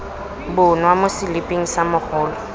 bonwa mo seliping sa mogolo